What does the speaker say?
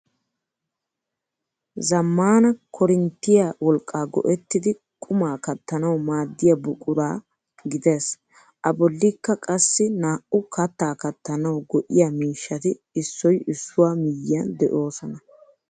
Zammaana koorinttiya wolqqa go"ettidi quma kattanaw maadiya buqura gidees. A bollikka qassi naa"u kattaa kattanaw go"iyaa miishshati issoy issuwaa miyyiyan de'oosona.